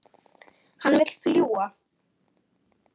Hann vill fljúga.